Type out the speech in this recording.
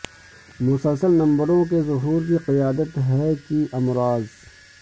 مسلسل نمبروں کے ظہور کی قیادت ہے کہ امراض